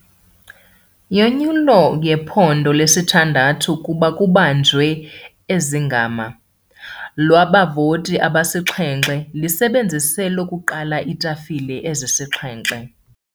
Yonyulo yephondo 6 kuba kubanjwe ezingama lwabavoti abasixhenxe lisebenzise lokuqala iitafile ezisixhenxe.